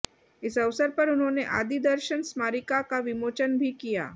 इस अवसर पर उन्होंने आदि दर्शन स्मारिका का विमोचन भी किया